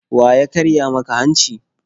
Wa ya karya maka hanci?